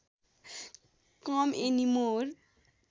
com any more